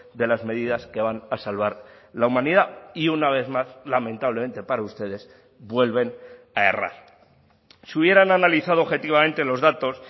de las medidas que van a salvar la humanidad y una vez más lamentablemente para ustedes vuelven a errar si hubieran analizado objetivamente los datos